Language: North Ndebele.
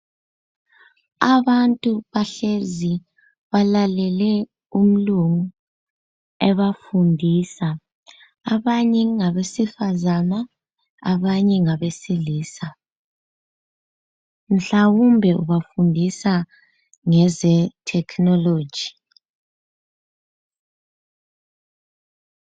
Abantu bahlezi balalele umlungu ebafundisa. Abanye ngabesifazana, abanye ngabesilisa, mhlawumbe ubafundisa ngeze thekhinoloji.